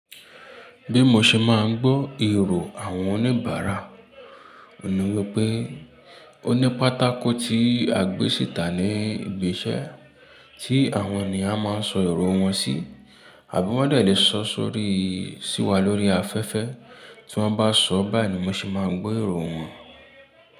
Bí mo ṣe máa ń gbọ́ èrò àwọn oníbàárà, òní wípé ó ní pátákó tí a gbé sìta ní ibi iṣẹ́ tí àwọn ènìyàn máa ń sọ èrò wọn sí àbí wón dẹ̀ lè sọ sórí, sí wa lórí afẹ́fẹ́ tí wọ́n bá sọ báyìí ni mo ṣe máa ń gbọ́ èrò wọn.